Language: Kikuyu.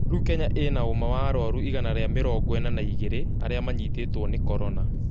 Rĩu Kenya ĩna ũma wa arũaru igana rĩa mĩrongo ina na igiri arĩa manyitituo nĩ Corona